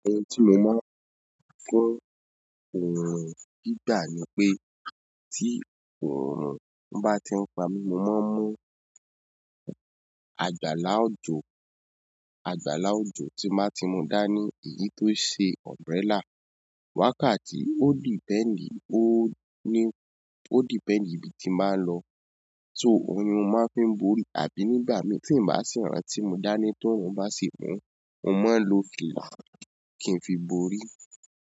Ohun tí mo máa ń kọ́ òòrùn nígbà ni pé tí òòrùn bá ti ń pa mí, mo máa ń mú àgbàlá òjò. Àgbàlá òjò tí n bá ti mú dání, èyí tó ṣe umbrella. Wákàtí ó depend ó ní ó depend ibi tí n bá ń lọ, so òhun ni mo máa fi borí. Àbí nígbà mí tí ń bá sì rán tí mo dání tó òòrùn bá sì mú, mo máa ń lo fìà kín fi borí.